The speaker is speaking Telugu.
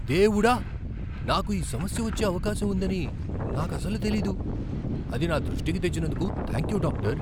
దేవుడా! నాకు ఆ సమస్య వచ్చే అవకాశం ఉందని నాకసలు తెలీదు. అది నా దృష్టికి తెచ్చినందుకు థాంక్యూ డాక్టర్.